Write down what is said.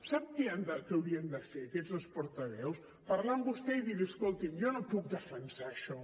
sap què haurien de fer aquests dos portaveus parlar amb vostè i dir li escolti’m jo no puc defensar això